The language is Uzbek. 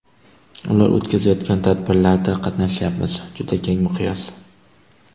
Ular o‘tkazayotgan tadbirlarda qatnashyapmiz juda keng miqyos.